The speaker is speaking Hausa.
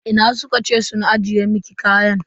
Ina suka ce sun ajiye miki kaya?